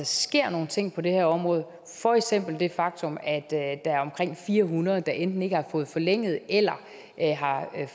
sker nogle ting på det her område for eksempel det faktum at der er omkring fire hundrede der enten ikke har fået forlænget eller har